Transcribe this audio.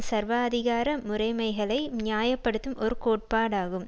சர்வாதிகார முறைமைகளை நியாய படுத்தும் ஒரு கோட்பாடாகும்